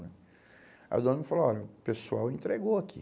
né. Aí o dono me falou, olha, o pessoal entregou aqui.